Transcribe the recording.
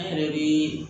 An yɛrɛ be